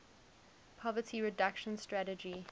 poverty reduction strategy